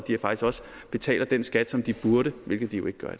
betaler den skat som de burde hvilket de jo ikke gør